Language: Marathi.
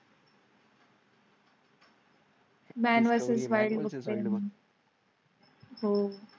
मॅन . हो.